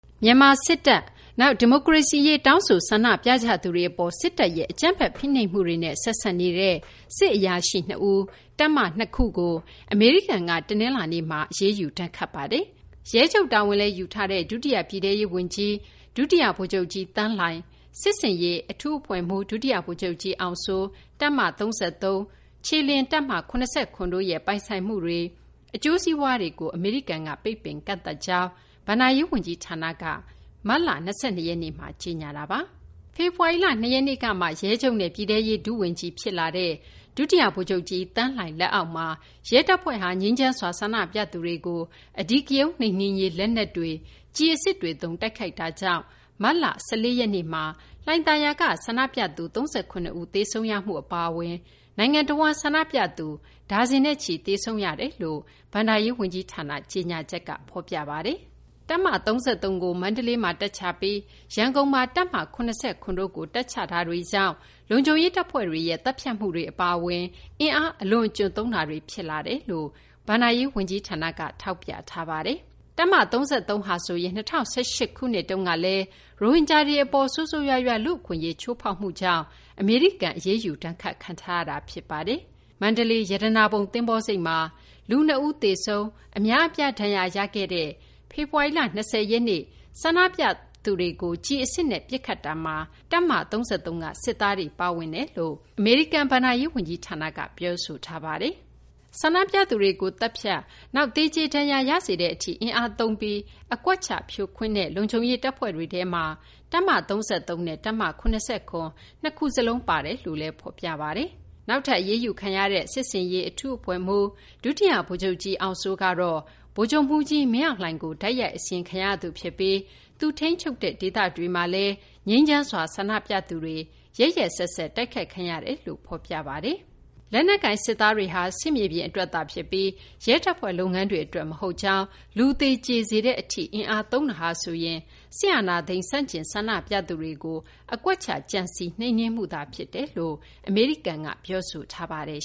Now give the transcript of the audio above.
မြန်မာစစ်တပ်၊ ဒီမိုကရေစီရေး တောင်းဆို ဆန္ဒပြကြသူတွေအပေါ် စစ်တပ်ရဲ့ အကြမ်းဖက် ဖိနှိပ်မှုတွေနဲ့ ဆက်စပ်နေတဲ့ စစ်အရာရှိ နှစ်ဦးနဲ့ တပ်မ ၂ ခုကို အမေရိကန်က တနလာၤနေ့မှာ အရေးယူ ဒဏ်ခတ်ပါတယ်။ ရဲချုပ် တာဝန်လည်း ယူထားတဲ့ ဒုတိယ ပြည်ထဲရေး ဝန်ကြီး ဒုတိယ ဗိုလ်ချုပ်ကြီး သန်းလှိုင်၊ စစ်ဆင်ရေး အထူးအဖွဲ့မှူး ဒုတိယ ဗိုလ်ချုပ်ကြီး အောင်စိုး၊ တပ်မ ၃၃၊ တပ်မ ၇၇ တို့ရဲ့ ပိုင်ဆိုင်မှုတွေ၊ အကျိုးစီးပွားတွေကို အမေရိကန်က ပိတ်ပင် ကန့်သတ်ကြောင်း အမေရိကန် ဘဏ္ဍာရေး ဝန်ကြီးဌာနက မတ်လ ၂၂ ရက်မှာ ကြေညာခဲ့တာပါ။ ဖေဖော်ဝါရီလ ၂ ရက်နေ့ကမှ ရဲချုပ်နဲ့ ပြည်ထဲရေး ဒုဝန်ကြီး ဖြစ်လာတဲ့ ဒုတိယ ဗိုလ်ချုပ်ကြီး သန်းလှိုင် လက်အောက်မှာ ရဲတပ်ဖွဲ့ဟာ ငြိမ်းချမ်းစွာ ဆန္ဒပြသူတွေကို အဓိကရုဏ်းနှိမ်နင်းရေး လက်နက်တွေ၊ ကျည် အစစ်တွေ သုံး တိုက်ခိုက်လာတာကြောင့် မတ်လ ၁၄ ရက်နေ့မှာ လှိုင်သာယာက ဆန္ဒပြသူ ၃၇ ဦး သေဆုံးရမှု အပါအဝင် နိုင်ငံတဝန်း ဆန္ဒပြသူ ဒါဇင်နဲ့ချီ သေဆုံးခဲ့ရကြောင်း အမေရိကန် ဘဏ္ဍာရေး ဝန်ကြီးဌာန ကြေညာချက် ဖော်ပြပါတယ်။ တပ်မ ၃၃ ကို မန္တလေးမှာ တပ်ချပြီး ရန်ကုန်မှာ တပ်မ ၇၇ တို့ကို တပ်ချမှုတွေကြောင့် လုံခြုံရေး တပ်ဖွဲ့တွေရဲ့ သတ်ဖြတ်မှုတွေ အပါအဝင် အင်အားအလွန်အကျွံသုံးတာတွေ ဖြစ်လာတယ်လို့ အမေရိကန် ဘဏ္ဍာရေး ဝန်ကြီးဌာနက ထောက်ပြထားပါတယ်။ တပ်မ ၃၃ ဟာဆိုရင် ၂၀၁၈ ခုနှစ်တုန်းက ရိုဟင်ဂျာတွေ အပေါ် ဆိုးဆိုးရွားရွား လူ့အခွင့်အရေး ချိုးဖောက်မှုကြောင့် အမေရိကန် အရေးယူ ဒဏ်ခတ်ခံထားရတာ ဖြစ်ပါတယ်။ မန္တလေး ရတနာပုံ သဘောၤဆိပ်မှာ လူ ၂ ဦး သေဆုံး၊ အများအပြား ဒဏ်ရာရ ခဲ့တဲ့ ဖေဖော်ဝါရီလ ၂၀ ရက်နေ့ ဆန္ဒပြသူတွေကို ကျည်အစစ်နဲ့ ပစ်ခတ်မှုမှာ တပ်မ ၃၃ က စစ်သားတွေ ပါဝင်တယ်လို့ အမေရိကန် ဘဏ္ဍာရေး ဝန်ကြီးဌာနက ပြောပါတယ်။ ဆန္ဒပြသူတွေကို သတ်ဖြတ်၊ နောက် သေကြေ ဒဏ်ရာ ရစေတဲ့ အထိ အင်အားသုံးပြီး အကွက်ချ ဖြိုခွင်းတဲ့ လုံခြုံရေး တပ်ဖွဲ့တွေထဲမှာ တပ်မ ၃၃ နဲ့ တပ်မ ၇၇ နှစ်ခုစလုံး ပါဝင်တယ်လို့လည်း ဖော်ပြပါတယ်။ နောက်ထပ် အရေးယူခံရတဲ့ စစ်ဆင်ရေး အထူးအဖွဲ့မှူး ဒုတိယ ဗိုလ်ချုပ်ကြီး အောင်စိုးကတော့ ဗိုလ်ချုပ်မှူးကြီး မင်းအောင်လှိုင်ကို တိုက်ရိုက် အစီရင်ခံရသူ ဖြစ်ပြီး သူထိန်းချုပ်တဲ့ ဒေသတွေမှာလည်း ငြိမ်းချမ်းစွာ ဆန္ဒပြသူတွေ ရက်ရက်စက်စက် တိုက်ခိုက်ခံရတယ်လို့ ဖော်ပြပါတယ်။ လက်နက်ကိုင် စစ်သားတွေဟာ စစ်မြေပြင် အတွက်သာ ဖြစ်ပြီး ရဲတပ်ဖွဲ့ လုပ်ငန်းတွေ အတွက် မဟုတ်ကြောင်း၊ လူသေကြေ စေတဲ့ အထိ အင်အားသုံးတာဟာဆိုရင် စစ်အာဏာသိမ်း ဆန့်ကျင် ဆန္ဒပြသူတွေကို အကွက်ချ ကြံစည် နှိမ်နင်းမှုသာ ဖြစ်တယ်လို့လည်း အမေရိကန်က ပြောဆိုထားပါတယ်